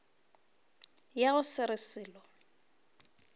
ya go se re selo